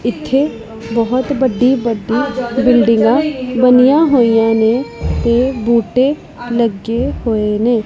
ਇੱਥੇ ਬਹੁਤ ਬੱਡੀ ਬੱਡੀ ਬਿਲਡਿੰਗਾਂ ਬਣਿਆਂ ਹੋਇਆਂ ਨੇ ਤੇ ਬੂਟੇ ਲੱਗੇ ਹੋਏ ਨੇ।